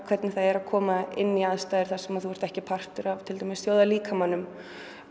hvernig er að koma inn í aðstæður þar sem þú ert ekki partur af þjóðarlíkamanum